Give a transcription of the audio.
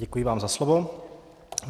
Děkuji vám za slovo.